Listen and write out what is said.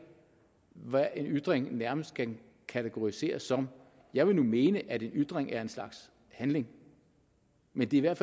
hvad en ytring nærmest kan kategoriseres som jeg vil nu mene at en ytring er en slags handling men det er